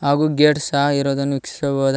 ಹಾಗು ಗೇಟ್ ಸಹ ಇರೋದನ್ನು ವಿಕ್ಶಿಸಬಹುದ್--